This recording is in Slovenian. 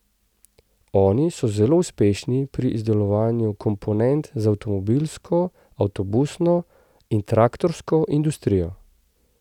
Oni so zelo uspešni pri izdelovanju komponent za avtomobilsko, avtobusno in traktorsko industrijo.